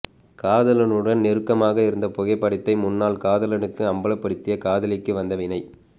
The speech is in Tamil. காதலனுடன் நெருக்கமாக இருந்த புகைப்படத்தை முன்னாள் காதலனுக்கு அம்பலபடுத்திய காதலிக்கு வந்த வினை